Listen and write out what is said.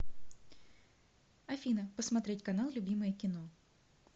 афина посмотреть канал любимое кино